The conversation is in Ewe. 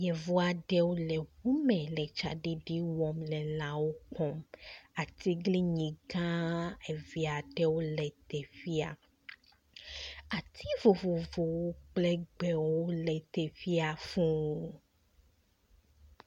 Yevu aɖewo eŋu me le tsaɖiɖi wɔm le lãwo kpɔm. Atiglinyi gã eve aɖewo le teƒea. Ati vovovowo le teƒea fuu.